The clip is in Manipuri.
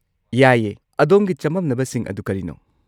ꯌꯥꯏꯌꯦ, ꯑꯗꯣꯝꯒꯤ ꯆꯃꯝꯅꯕꯁꯤꯡ ꯑꯗꯨ ꯀꯔꯤꯅꯣ?